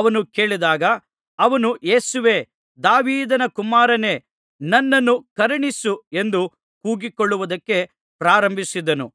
ಅವನು ಕೇಳಿದಾಗ ಅವನು ಯೇಸುವೇ ದಾವೀದನ ಕುಮಾರನೇ ನನ್ನನ್ನು ಕರುಣಿಸು ಎಂದು ಕೂಗಿಕೊಳ್ಳುವುದಕ್ಕೆ ಪ್ರಾರಂಭಿಸಿದನು